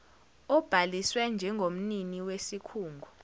obhaliswe njengomnini wesikhungo